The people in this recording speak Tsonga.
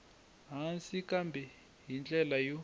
hansi kambe hi ndlela yo